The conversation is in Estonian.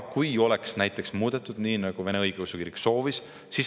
Kui seda oleks muudetud, nii nagu see õigeusu kirik soovis …